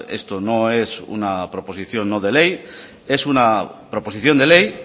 esto no es una proposición no de ley es una proposición de ley